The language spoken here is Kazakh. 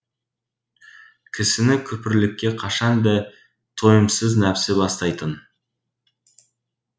кісіні күпірлікке қашан да тойымсыз нәпсі бастайтын